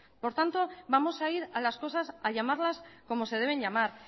por tanto vamos a ir a las cosas a llamarlas cómo se deben llamar